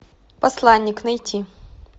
посланник найти